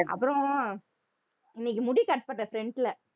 அப்புறம் இன்னைக்கு முடி cut பண்றேன் front ல